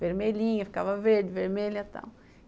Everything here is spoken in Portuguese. Vermelhinha, ficava verde, vermelha e tal.